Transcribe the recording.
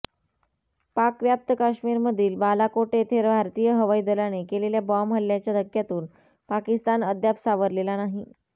पाकव्याप्त काश्मीरमधील बालाकोट येथे भारतीय हवाई दलाने केलेल्या बॉम्ब हल्ल्याच्या धक्क्यातून पाकिस्तान अद्याप सावरलेला नाही